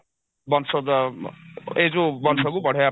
ବଂଶୋଦୟ ଏଇ ଯଉ ବଂଶକୁ ବଢେଇବା ପାଇଁ